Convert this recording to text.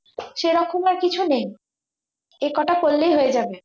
সেরকম আর কিছু নেই একটা করলেই হয়ে যাবে